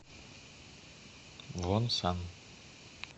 вонсан